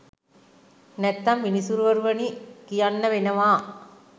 නැත්තම් විනිසුරුවනි කියන්න වෙනවා!